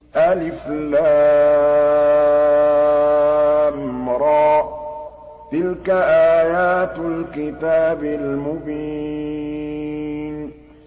الر ۚ تِلْكَ آيَاتُ الْكِتَابِ الْمُبِينِ